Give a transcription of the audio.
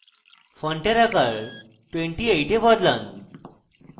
ফন্টের আকার 28 এ বদলান